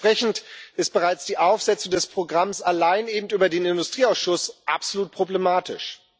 Entsprechend ist bereits die Aufsetzung des Programms allein eben über den Industrieausschuss absolut problematisch.